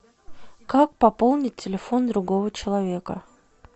как пополнить телефон другого человека